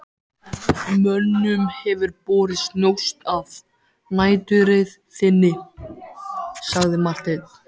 Mönnum hefur borist njósn af næturreið þinni, sagði Marteinn.